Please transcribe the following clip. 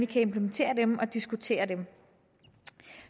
kan implementere og diskutere dem